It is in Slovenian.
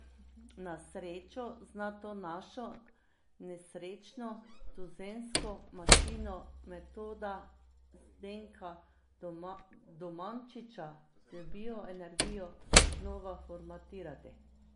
Na srečo zna to našo nesrečno tuzemsko mašino metoda Zdenka Domančiča z bioenergijo znova formatirati.